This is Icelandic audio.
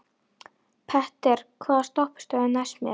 Petter, hvaða stoppistöð er næst mér?